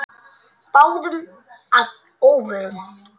Báðum að óvörum.